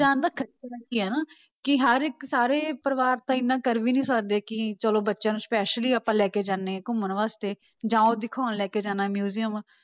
ਜਾਣ ਦਾ ਹੈ ਨਾ ਕਿ ਹਰ ਇੱਕ ਸਾਰੇ ਪਰਿਵਾਰ ਤਾਂ ਇੰਨਾ ਕਰ ਵੀ ਨੀ ਸਕਦੇ ਕਿ ਚਲੋ ਬੱਚਿਆਂ ਨੂੰ specially ਆਪਾਂ ਲੈ ਕੇ ਜਾਂਦੇ ਹਾਂ ਘੁੰਮਣ ਵਾਸਤੇ ਜਾਂ ਉਹ ਦਿਖਾਉਣ ਲੈ ਕੇ ਜਾਣਾ ਹੈ museum